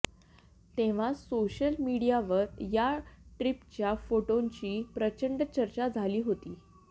तेव्हा सोशल मीडियावर या ट्रीपच्या फोटोंची प्रचंड चर्चा झाली होती